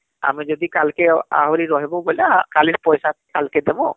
ଆମେ ଯଦି କାଲକେ ଆହୁରି ରହିବୁ ବୋଲେ କାଲିର ପଇସା କାଲକେ ଦବୁଁ